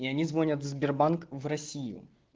и они звонят сбербанк в россию